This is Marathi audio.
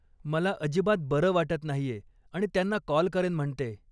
मला अजिबात बरं वाटत नाहीये आणि त्यांना कॉल करेन म्हणतेय.